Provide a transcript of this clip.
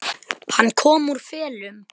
Hann kom úr felum.